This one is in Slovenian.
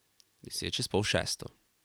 Deset čez pol šesto.